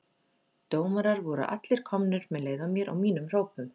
Dómarar voru allir komnir með leið á mér og mínum hrópum.